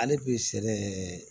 Ale bɛ sɛnɛ